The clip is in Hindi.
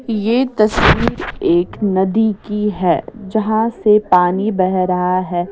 यह तस्वीर एक नदी की है जहाँ से पानी बह रहा है।